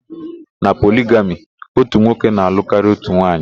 Na poligami, ótù nwoke na-alụ karịa ótù nwaanyị.